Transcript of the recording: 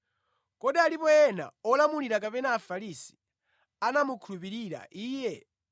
“Kodi alipo ena a olamulira kapena a Afarisi, anamukhulupirira Iye?